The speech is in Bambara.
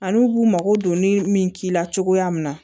Ani u b'u mago don ni min k'i la cogoya min na